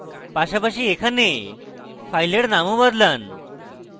পাশাপাশি এখানে ফাইলের নাম ও বদলান